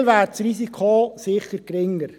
In Prêles wäre dieses Risiko sicher geringer.